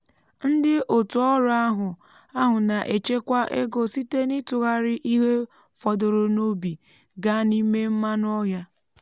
ndị otu ọrụ ahụ ahụ na-echekwa ego site n'ịtụgharị ihe fọdụrụ n'ubi gaa n'ime mmanụ ọhịa